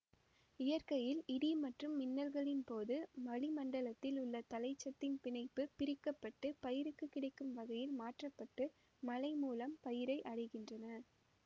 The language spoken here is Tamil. இயற்கையில் இடி மற்றும் மின்னல்களின்போது வழிமண்டலத்தில் உள்ள தழைச்சத்தின் பிணைப்பு பிரிக்க பட்டு பயிருக்கு கிடைக்கும் வகையில் மாற்ற பட்டு மழைமூலம் பயிரை அடைகின்றன